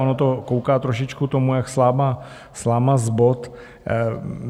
Ono to kouká trošičku tomu jak sláma z bot.